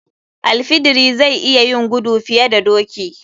Al fidiri zai iya yin gudu fiye da doki.